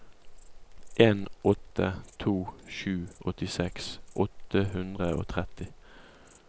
en åtte to sju åttiseks åtte hundre og tretti